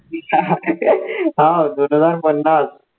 हाव दोन हजार पन्नास